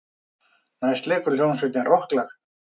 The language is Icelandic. Næst leikur hljómsveitin rokklag.